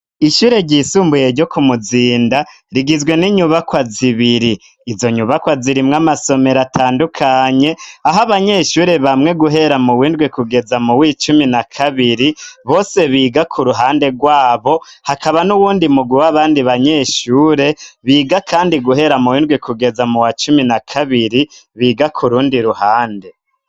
Ishure ryisumbuye ryo ku Muzinda rigizwe n'inyubakwa zibiri, izo nyubakwa zirimwo amasomero atandukanye aho abanyeshure bamwe guhera mu w'indwi kugeza mu w'icumi na kabiri bose biga ku ruhande rwabo, hakaba n'uwundi mugwi w'abandi banyeshure biga kandi guhera mu w'indwi kugeza mu wa cumi na kabiri biga ku rundi ruhande.